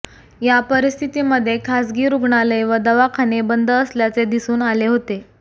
या परिस्थितीमध्ये खाजगी रुग्णालय व दवाखाने बंद असल्याचे दिसून आले होते